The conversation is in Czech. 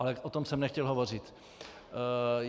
Ale o tom jsem nechtěl hovořit.